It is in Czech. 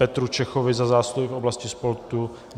Petru Čechovi za zásluhy v oblasti sportu